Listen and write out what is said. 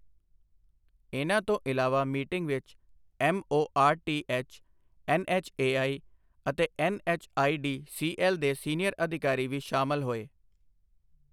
ਇਨ੍ਹਾਂ ਤੋਂ ਇਲਾਵਾ ਮੀਟਿੰਗ ਵਿੱਚ ਐੱਮਓਆਰਟੀਐੱਚ, ਐੱਨਐੱਚਏਆਈ ਅਤੇ ਐੱਨਐੱਚਆਈਡੀਸੀਐੱਲ ਦੇ ਸੀਨੀਅਰ ਅਧਿਕਾਰੀ ਵੀ ਸ਼ਾਮਲ ਹੋਏ।